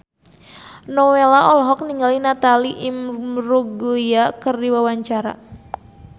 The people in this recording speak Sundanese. Nowela olohok ningali Natalie Imbruglia keur diwawancara